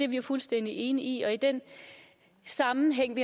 vi jo fuldstændig enige i og i den sammenhæng